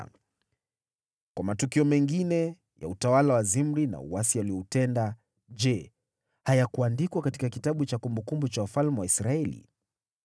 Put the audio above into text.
Kwa matukio mengine ya utawala wa Zimri, na uasi alioutenda, je, hayakuandikwa katika kitabu cha kumbukumbu za wafalme wa Israeli?